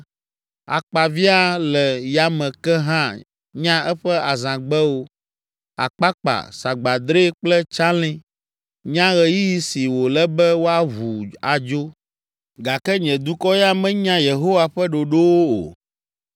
Akpaviã le yame ke hã nya eƒe azãgbewo, akpakpa, sagbadre kple tsalĩ, nya ɣeyiɣi si wòle be woaʋu adzo. Gake nye dukɔ ya menya Yehowa ƒe ɖoɖowo o.